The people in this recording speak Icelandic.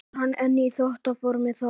Verður hann enn í toppformi þá?